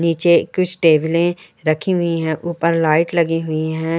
नीचे कुछ टेबले रखी हुई हैं ऊपर लाइट लगी हुई हैं।